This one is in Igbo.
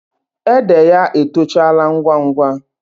Ede ya etochala ngwa ngwa.